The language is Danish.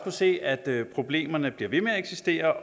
se at problemerne bliver ved med at eksistere